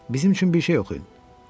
Bizim üçün bir şey oxuyun.